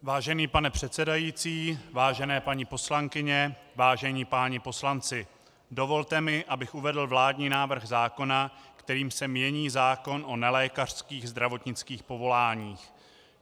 Vážený pane předsedající, vážené paní poslankyně, vážení páni poslanci, dovolte mi, abych uvedl vládní návrh zákona, kterým se mění zákon o nelékařských zdravotnických povoláních.